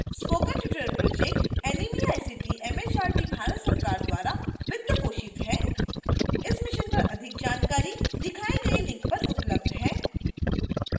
spoken tutorial project NMEICT MHRD Bharat सरकार द्वारा वित्त पोषित है इस mission पर अधिक जानकारी दिखाई गई link पर उपलब्ध है